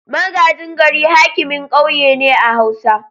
Magajin gari hakimin kauye ne a hausa.